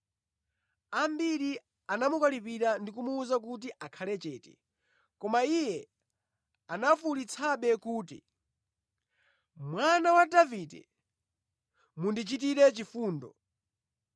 Ambiri anamukalipira ndi kumuwuza kuti akhale chete, koma iye anafuwulitsabe kuti, “Mwana wa Davide, mundichitire chifundo!”